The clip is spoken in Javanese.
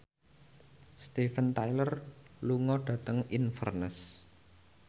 Steven Tyler lunga dhateng Inverness